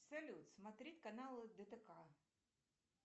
салют смотреть каналы дтк